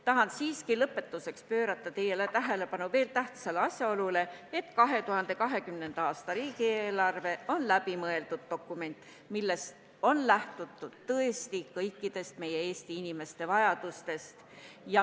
Tahan siiski lõpetuseks juhtida teie tähelepanu tähtsale asjaolule, et 2020. aasta riigieelarve on läbimõeldud dokument, milles on lähtutud tõesti kõikidest meie Eesti inimeste vajadustest.